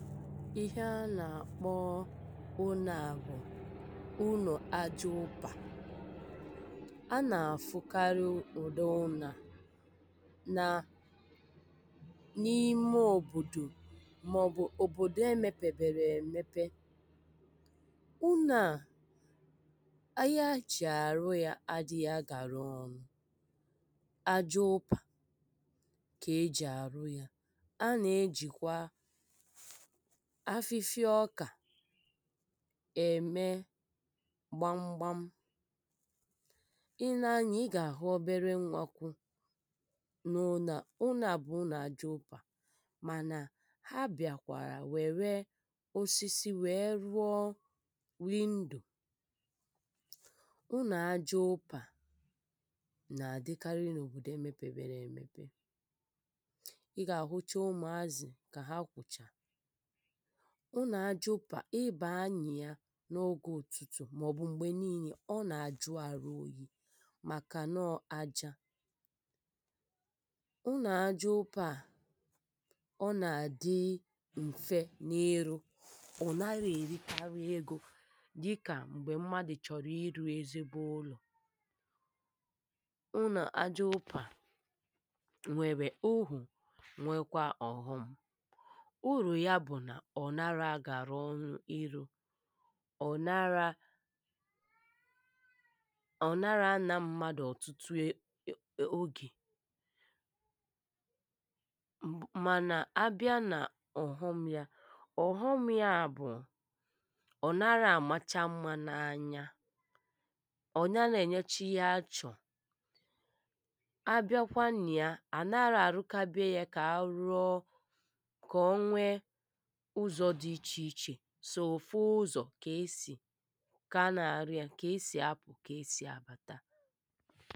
Ihe a na-akpọ ụnọ a bụ ụnọ ajaụpa,a na-afụkarị ụdị ụnọ a na n'ime obodo ma ọbụ obodo e mepeberọ emepe, ụnọ a ahịa eji arụ ya adịghị agara ọnụ. Ajaụpa ka eji arụ ya a na ejikwa afịfịa ọkà eme gbamgbam, ị nee anya ị ga ahụ ọbere nwa kwụ n'ụnọ a, ụnọ a bụ ụnọ ajaụpa mana ha bịakwara were osisi wee rụọ window. Ụnọ ajaụpa na adịkarị na obodo e mepeberọ emepe,[uh] ị ga ahụcha umuazị ka ha kwụcha, ụnọ ajaụpa a ị baa na ya n'oge ụtụtụ ma ọbụ mgbe n'ine ọ na ajụ arụ oyi maka nọọ aja. Ụnọ ajaụpa a, ọ na-adi mfe n'irụ ọ narọ erikarị ego dịka mgbe mmadụ chọrọ ịrụ ezigbo ụlọ. Unọ ajaụpa nwere uru nwekwaa ọghọm, uru ya bụ na ọ narọ agara ọnụ ịrụ, ọ nara ọ nara ana mmadụ ọtụtụ oge mana a bịa na ọghọm ya ọghọm ya bụ ọ narọ amacha mma n'anya, ọ narọ enyecha ihe a chọọ, a bịakwa na ya a narọ arụkabe ya ka arụọ ka ọnwee ụzọ dị iche iche sọ ofu ụzọ ka esi ka a na arụ ya, ka esi apụ ka esi abata.